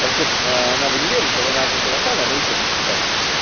короче ээ она в универе сейчас она вообще из казахстана но учится в китае